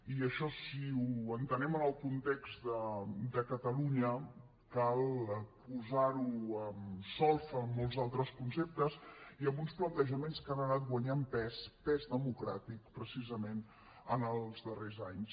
i això si ho entenem en el context de catalunya cal posar ho en solfa amb molts altres conceptes i amb uns plantejaments que han anat guanyant pes pes democràtic precisament en els darrers anys